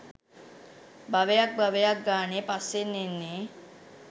භවයක් භවයක් ගානේ පස්සෙන් එන්නේ